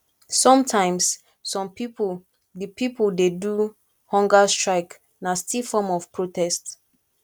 sometimes some pipo de pipo de do hunger strike na still form of protest